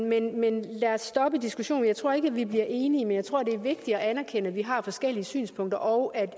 men men lad os stoppe diskussionen for jeg tror ikke at vi bliver enige men jeg tror det er vigtigt at anerkende at vi har forskellige synspunkter og at det